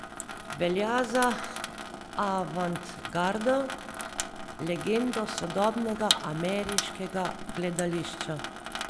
Velja za avantgardo, legendo sodobnega ameriškega gledališča.